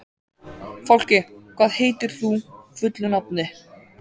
Fálki, hvað heitir þú fullu nafni?